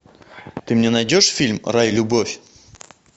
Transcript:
ты мне найдешь фильм рай любовь